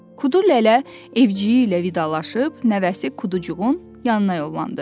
Kudu lələ evciyi ilə vidalaşıb nəvəsi Kuducuğun yanına yollandı.